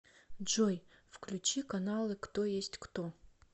джой включи каналы кто есть кто